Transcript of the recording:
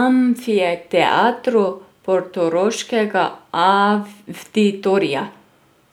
Amfiteatru portoroškega Avditorija.